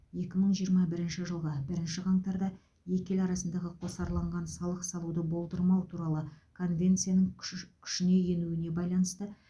екі мың жиырма бірінші жылғы бірінші қаңтарда екі ел арасындағы қосарланған салық салуды болдырмау туралы конвенцияның күші күшіне енуіне байланысты